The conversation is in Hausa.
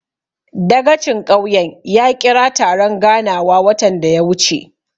Dagacin ƙauyen ya ƙira taron ganawa watan da ya wuce.